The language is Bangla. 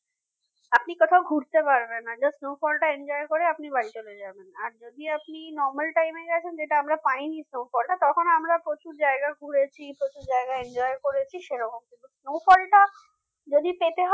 আপনি কোথাও ঘুরতে পারবেন না just snowfall টা enjoy করে আপনি বাড়ি চলে যাবেন আর যদি আপনি normal time এ গেছেন যেটা আমরা পাইনি তখন আমরা প্রচুর জায়গায় ঘুরেছি প্রচুর জায়গা enjoy করেছি সেরকম কিন্তু snow fall টা যদি পেতে হয়